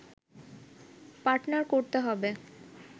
partner করতে হবে